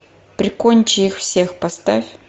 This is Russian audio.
прикончи их всех поставь